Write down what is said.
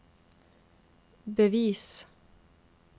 bevis